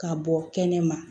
Ka bɔ kɛnɛma